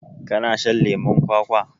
kana shan leman kwakwa